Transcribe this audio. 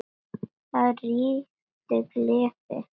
Þar ríkti gleði.